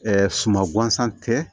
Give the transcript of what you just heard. suma gansan tɛ